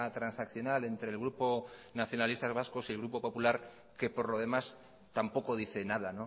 transaccional entre el grupo nacionalistas vasco y el grupo popular que por lo demás tampoco dice nada